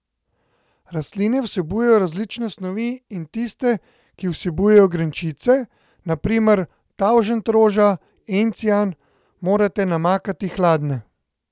Rastline vsebujejo različne snovi in tiste, ki vsebujejo grenčine, na primer tavžentroža, encijan, morate namakati hladne.